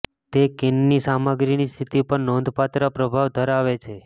તે કેનની સામગ્રીની સ્થિતિ પર નોંધપાત્ર પ્રભાવ ધરાવે છે